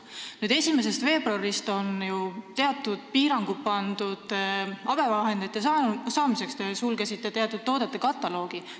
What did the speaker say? Nüüd 1. veebruarist on pandud ju piirangud abivahendite saamiseks, te sulgesite teatud toodete kataloogi.